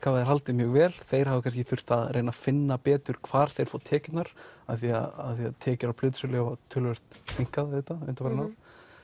hafa haldið mjög vel þeir hafa kannski þurft að reyna að finna betur hvar þeir fá tekjurnar af því að tekjur af plötusölu hafa töluvert minnkað auðvitað undanfarin ár